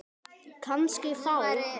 Kannski þá.